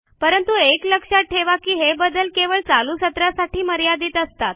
परंतु एक लक्षात ठेवा की हे बदल केवळ चालू सत्रासाठी मर्यादित असतात